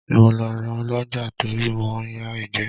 Mo lọ ra Ọlọ́jàá torí mò ń ya ìgbẹ́.